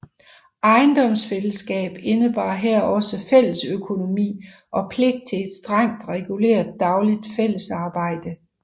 Ejendomsfællesskab indebar her også fællesøkonomi og pligt til et strengt reguleret dagligt fællesarbejde